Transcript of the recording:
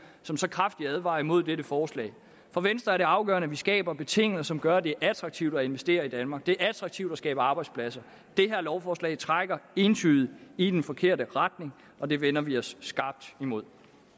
som så kraftigt advarer imod dette forslag for venstre er det afgørende at vi skaber betingelser som gør at det er attraktivt at investere i danmark det er attraktivt at skabe arbejdspladser det her lovforslag trækker entydigt i den forkerte retning og det vender vi os skarpt imod